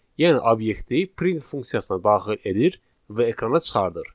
Yəni obyekti print funksiyasına daxil edir və ekrana çıxardır.